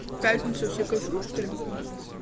в пятницу все кайфуют что ли